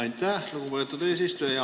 Aitäh, lugupeetud eesistuja!